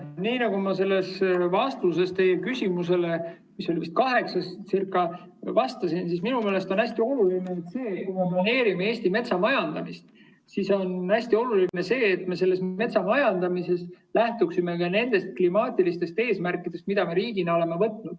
Nii nagu ma selles vastuses teie küsimusele, mis oli vist kaheksas, vastasin, siis minu meelest on hästi oluline see, et kui me planeerime Eestis metsamajandamist, siis me lähtuksime ka nendest klimaatilistest eesmärkidest, mida me riigina oleme endale võtnud.